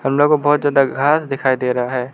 न तो बहोत ज्यादा घास दिखाई दे रहा है।